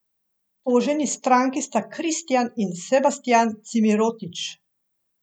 Toženi stranki sta Kristjan in Sebastjan Cimirotič.